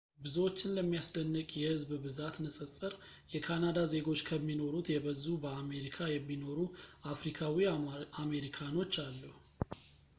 ብዙዎችን ለሚያስደንቅ የሕዝብ ብዛት ንፅፅር የካናዳ ዜጎች ከሚኖሩት የበዙ በአሜሪካ የሚኖሩ አፍሪካዊ አሜሪካኖች አሉ